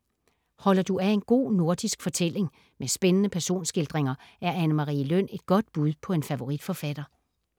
Holder du af en god nordisk fortælling med spændende personskildringer, er Anne Marie Løn et godt bud på en favoritforfatter.